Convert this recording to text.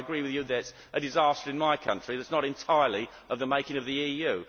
So I agree with you that this is a disaster in my country that is not entirely of the making of the EU.